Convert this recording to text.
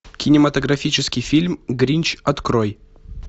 кинематографический фильм гринч открой